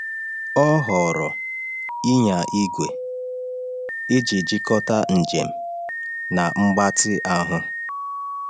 Ọ họọrọ ịnya igwe iji jikọta njem na mgbatị ahụ.